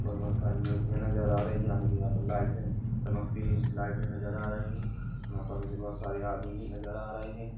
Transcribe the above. --पर बहुत सारी मुर्तिया नजर आ रही है मुझे यह पे लाइटे चमकती हुई लाइटे नजर आ रही है यहाँ पे मुझे बहुत सारे आदमी भी नज़र आ रहे है।